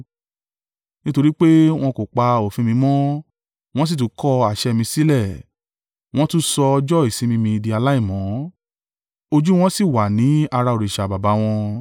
nítorí pé wọn kò pa òfin mi mọ́, wọn sì tún kọ àṣẹ mi sílẹ̀, wọn tún sọ ọjọ́ ìsinmi mi di aláìmọ́. Ojú wọn sì wà ní ara òrìṣà baba wọn.